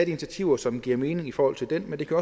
initiativer som giver mening i forhold til det men det kan